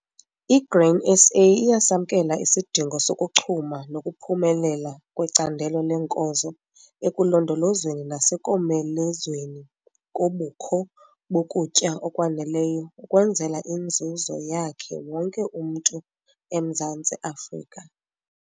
I-Grain SA iyasamkela isidingo sokuchuma nokuphumelela kwecandelo leenkozo ekulondolozweni nasekomelezweni kobukho bokutya okwaneleyo ukwenzela inzuzo yakhe wonke umntu eMzantsi Afrika.